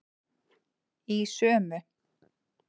Í sömu